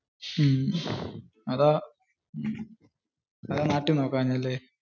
മഹ്. അതാ. എവിടെ നാട്ടിൽ നോക്കാഞ്ഞേ ല്ലേ.